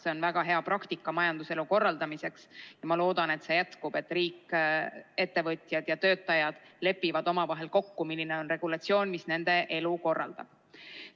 See on väga hea praktika majanduselu korraldamiseks ja ma loodan, et see jätkub, et riik, ettevõtjad ja töötajad lepivad omavahel kokku, milline on regulatsioon, mis nende elu korraldab.